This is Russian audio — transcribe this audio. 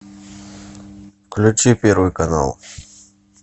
включи первый канал